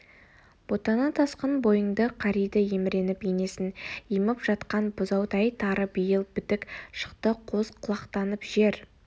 ботана тасқын бойыңды қариды еміреніп енесін еміп жатқан бұзаудай тары биыл бітік шықты қос құлақтанып жер